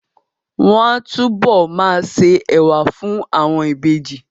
Wọ́n á túbọ̀ ma se ẹ̀wà fún àwọn ìbejì